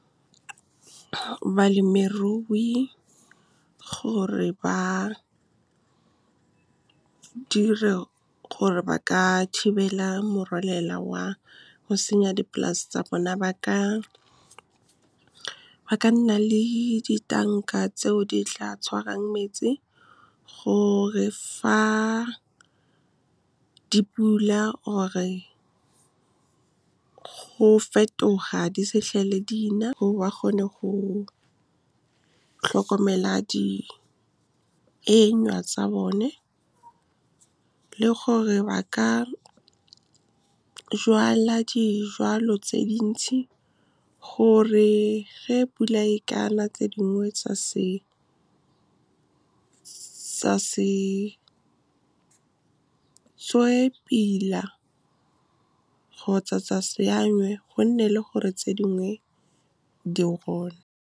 Balemirui gore ba ka thibela morwalela wa go senya dipolase tsa bone, ba ka nna le ditanka tseo di tla tshwarang metsi gore fa dipula, or-e go fetoga di se itlhele di na, ba kgone go tlhokomela di tsa bone, le gore ba ka jwala dijwalo tse dintsi, gore ge pula e ka na tse dingwe tsa se tswe pila kgotsa tsa se, gonne le gore tse dingwe di . Balemirui gore ba ka thibela morwalela wa go senya dipolase tsa bone, ba ka nna le ditanka tseo di tla tshwarang metsi gore fa dipula, or-e go fetoga di se itlhele di na, ba kgone go tlhokomela di tsa bone, le gore ba ka jwala dijwalo tse dintsi, gore ge pula e ka na tse dingwe tsa se tswe pila kgotsa tsa se, gonne le gore tse dingwe di .